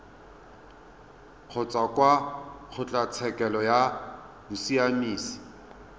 kgotsa kwa kgotlatshekelo ya bosiamisi